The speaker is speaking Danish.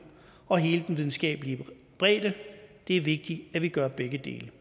og hele den videnskabelige bredde det er vigtigt at vi gør begge dele